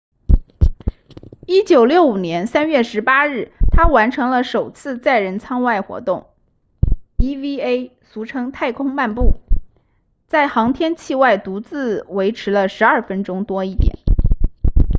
1965年3月18日他完成了首次载人舱外活动 eva 俗称太空漫步在航天器外独自维持了12分钟多一点